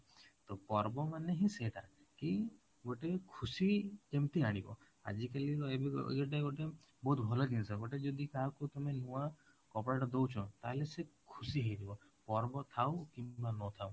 ତ ପର୍ବ ମାନେ ହିଁ ସେଇଟା କି ଗୋଟେ ଖୁସି ଯେମିତି ଆଣିବ ଆଜି କାଲି ଗୋଟେ ବହୁତ ଭଲ ଜିନିଷ ଗୋଟେ ଯଦି କାହାକୁ ତମେ ନୂଆ କପଡା ଟା ଦଉଛ ତାହେଲେ ସେ ଖୁସି ହେଇଯିବ ପର୍ବ ଥାଉ କିମ୍ବା ନଥାଉ